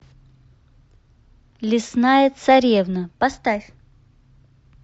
лесная царевна поставь